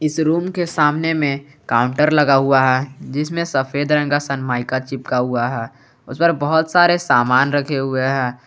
इस रूम के सामने में काउंटर लगा हुआ है जिसमें सफेद रंग का सनमाइका चिपका हुआ है उस पर बहुत सारे सामान रखे हुए हैं।